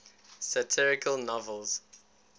satirical novels